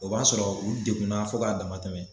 O b'a sɔrɔ u degunna fo k'a dama tɛmɛ